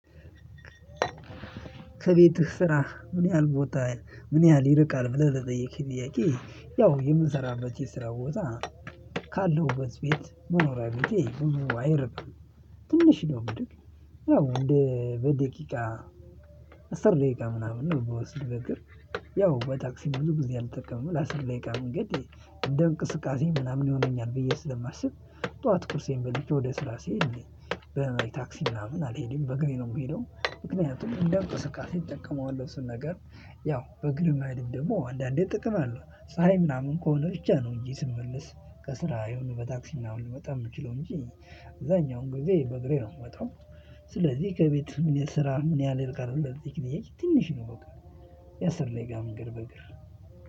ከቤትህ ስራ ምን ያህል ቦታ ምን ያህል ይርቃል? ብለህ ለጠየከኝ ጥያቄ ያው የምሰራበት የስራ ቦታ ካለሁበት ቤት መኖሪያ ቤቴ ብዙ አይርቅም ትንሽ ነው የሚርቅ። ያው በደቂቃ አስር ደቂቃ ምናምን ነው የሚወስድ በእግር ያው በታክሲ ብዙ ጊዜ አልጠቀምም ለአስር ደቂቃ መንገድ እንደ እንቅስቃሴ ምናምን ይሆነኛል ብዬ ስለማስብ ጠዋት ቁርሴን በልቼ ወደ ስራ ስሄድ በታክሲ ምናምን አልሄድም በእግሬ ነው ምሄደው። ምክንያቱም እንደ እንቅስቃሴ እጠቀመዋለው እሱን ነገር ያው በእግር መሄድም ደግሞ አንዳንዴ ጥቅም አለው ፀሀይ ምናምን ከሆነ ብቻ ነው እንጂ ስመለስ ከስራ የሆነ በታክሲ ምናምን ልመጣ የምችለው እንጂ አብዛኛውን ጊዜ በእግሬ ነው የምወጣው። ስለዚህ ከቤት ምን ስራህ ምን ያህል ብለህ ለጠየከኝ ጥያቄ ትንሽ ነው። በቃ የአስር ደቂቃ መንገድ በእግር